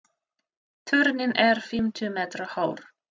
Turninn er fimmtíu metra hár.